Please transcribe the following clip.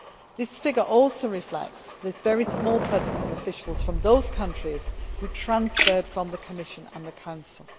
the EU. This figure also reflects this very small presence of officials from these countries who transferred from the Commission and the Council.